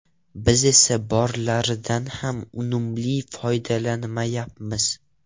Biz esa borlaridan ham unumli foydalanmayapmiz.